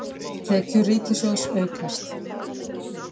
Tekjur ríkissjóðs aukast